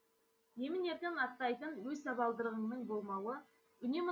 емін еркін аттайтын өз табалдырығыңның болмауы үнемі